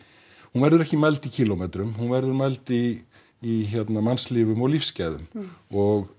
hún verður ekki mæld í kílómetrum hún verður mæld í í mannlífum og lífsgæðum og